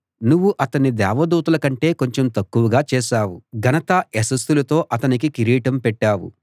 నువ్వు అతణ్ణి దేవదూతల కంటే కొంచెం తక్కువగా చేశావు ఘనతా యశస్సులతో అతనికి కిరీటం పెట్టావు